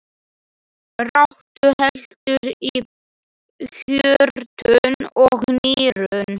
Ráddu heldur í hjörtun og nýrun.